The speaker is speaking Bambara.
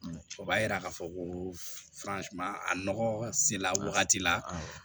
O b'a yira k'a fɔ ko a nɔgɔ sera wagati la